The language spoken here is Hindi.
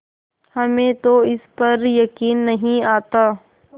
हमें तो इस पर यकीन नहीं आता